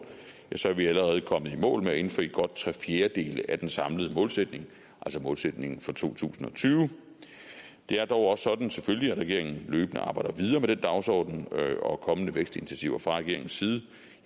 er vi allerede kommet i mål med at indfri godt tre fjerdedele af den samlede målsætning altså målsætningen for to tusind og tyve det er dog også sådan selvfølgelig løbende arbejder videre med den dagsorden og kommende vækstinitiativer fra regeringens side